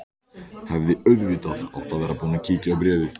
Hefði auðvitað átt að vera búin að kíkja á bréfið.